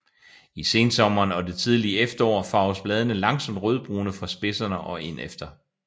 I sensommeren og det tidlige efterår farves bladene langsomt rødbrune fra spidserne og ind efter